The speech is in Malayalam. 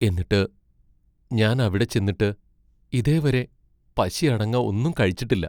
എന്നിട്ട് ഞാൻ അവിടെ ചെന്നിട്ട് ഇതേവരെ പശി അടങ്ങ ഒന്നും കഴിച്ചിട്ടില്ല.